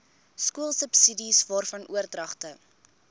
skoolsubsidies waarvan oordragte